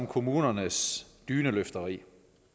kommunernes dyneløfteri